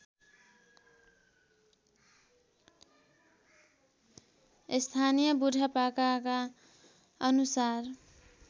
स्थानीय बुढापाकाका अनुसार